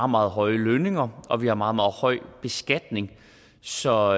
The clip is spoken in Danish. meget høje lønninger og vi har meget meget høj beskatning så